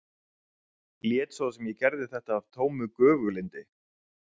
Lét svo sem ég gerði þetta af tómu göfuglyndi.